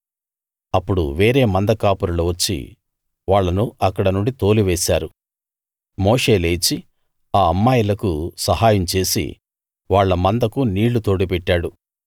అప్పుడు వేరే మంద కాపరులు వచ్చి వాళ్ళను అక్కడి నుండి తోలివేశారు మోషే లేచి ఆ అమ్మాయిలకు సహాయం చేసి వాళ్ళ మందకు నీళ్లు తోడిపెట్టాడు